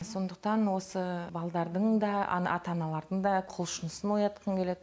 сондықтан осы балдардың да ата аналардың да құлшынысын оятқым келеді